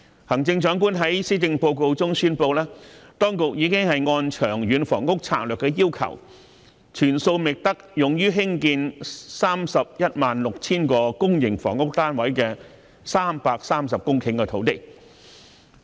行政長官在施政報告中宣布，當局已按《長遠房屋策略》的要求，全數覓得用於興建 316,000 個公營房屋單位的330公頃土地。